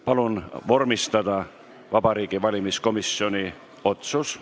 Palun vormistada Vabariigi Valimiskomisjoni otsus!